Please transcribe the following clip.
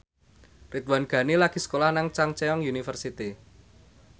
Ridwan Ghani lagi sekolah nang Chungceong University